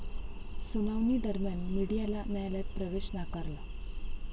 सुनावणीदरम्यान मीडियाला न्यायालयात प्रवेश नाकारला.